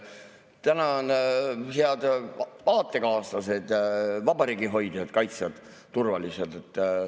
Tänan, head aatekaaslased, vabariigi hoidjad, kaitsjad, turvalised!